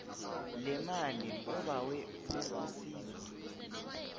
lemali obawe ukusizwa